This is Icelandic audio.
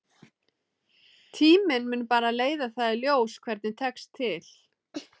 Tíminn mun bara leiða það í ljós hvernig tekst til.